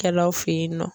Kɛlaw fe ye nɔ